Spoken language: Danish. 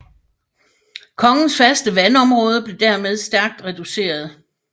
Kogens faste vandområde blev dermed stærkt reduceret